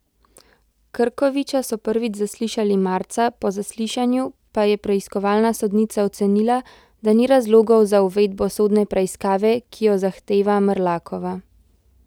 Krkoviča so prvič zaslišali marca, po zaslišanju pa je preiskovalna sodnica ocenila, da ni razlogov za uvedbo sodne preiskava, ki jo zahteva Mrlakova.